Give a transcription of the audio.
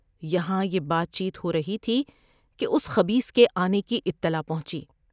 یہاں یہ بات چیت ہو رہی تھی کہ اس خبیث کے آنے کی اطلاع پہنچی ۔